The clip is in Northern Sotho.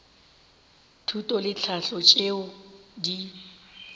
thuto le tlhahlo tšeo di